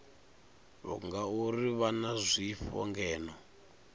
ngauri vha na zwifho ngeno